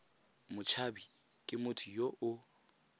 motshabi ke motho yo o